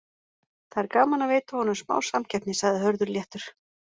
Það er gaman að veita honum smá samkeppni, sagði Hörður léttur.